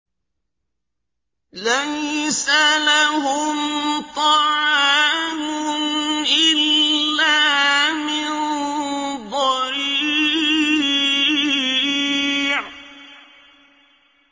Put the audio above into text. لَّيْسَ لَهُمْ طَعَامٌ إِلَّا مِن ضَرِيعٍ